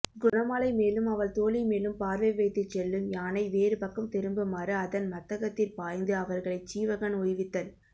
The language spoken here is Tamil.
குணமாலை மேலும் அவள் தோழிமேலும் பார்வைவைத்துச் செல்லும் யானை வேறுபக்கம் திரும்புமாறு அதன் மத்தகத்திற் பாய்ந்து அவர்களைச் சீவகன் உய்வித்தல்